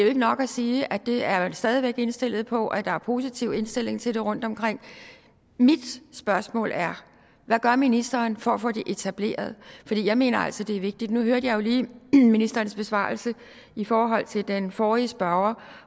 ikke nok at sige at det er man stadig indstillet på og at der er positiv indstilling til det rundtomkring mit spørgsmål er hvad gør ministeren for at få det etableret jeg mener altså det er vigtigt nu hørte jeg jo lige ministerens besvarelse i forhold til den forrige spørger